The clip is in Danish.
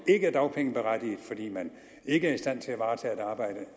er dagpengeberettiget fordi man ikke er i stand til at varetage et arbejde